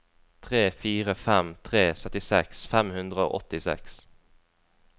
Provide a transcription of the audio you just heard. tre fire fem tre syttiseks fem hundre og åttiseks